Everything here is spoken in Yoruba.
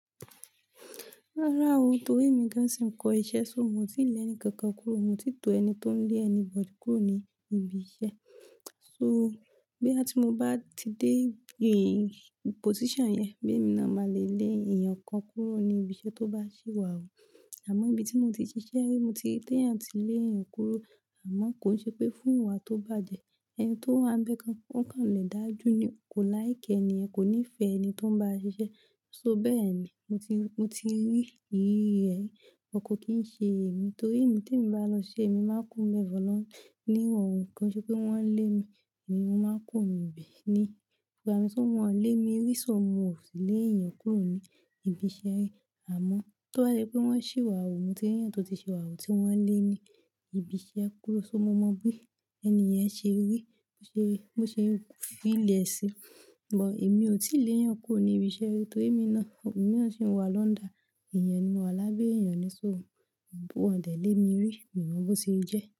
Rárá o, torí mi gán sì ń kọ iṣẹ́, so mo ti lè ẹni kankan kúrò, mo ti tó ẹni tó ń lé anybody kúrò ní ibi iṣẹ́. So boya tí mo bá ti dé position yẹn, bí èmi náà máa lè lé èèyàn kan kúrò ní ibi iṣẹ́ tó bá sì wà wu. Àmọ́ ibi tí mo ti ṣiṣẹ́ ri, mo ti ri teyan, ti lé èèyàn kúrò. Àmọ́ kò ṣe pé fún ìwà tó bàjẹ́, ẹni tó wá ń bẹ́ kan, ó kàn lè dájú ní ò kó láìkẹ́ ẹni yẹn kò nífẹ̀ẹ́ ẹni tó ń bá a ṣiṣẹ́. So bẹ́ẹ̀ ni. Mo ti, mo ti rí ìrí rẹ̀, kọkan kí í ṣe èmi torí èmi tí èmi bá lọ ṣe èmi máa kúrò níbẹ̀ lọ ní ìrọ̀rùn kí n ṣe pé wọ́n lé mi, èmi máa kùro nu be ní. Ìbámu tí wọ́n lé mi rí, so mo ò sì lé èèyàn kúrò ní ibi iṣẹ́ rí. Àmọ́ tó bà yẹ pé wọ́n sì wà wu, mo ti rí èèyàn tó ti ṣi wà wu tí wọ́n lé ní ibi iṣẹ́ kúrò, so mo mọ bí ẹni yẹn ṣe rí, bó ṣe, bó ṣe ń fìlẹ̀ sí. But èmi ò tí lè èèyàn kúrò ní ibi iṣẹ́ ri torí èmi náà, èmi náà sì ń wà lọ́ńdà. Ẹ̀yàn ni mo wà lábẹ́ èèyàn ni, so wọ́n dẹ̀ lé mi rí. Mi o mọ bó se jẹ́.